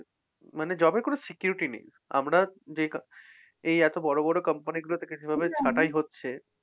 মানে job এর কোন security নেই। আমরা যে এই এত বড় বড় company গুলো থেকে যেভাবে ছাটাই হচ্ছে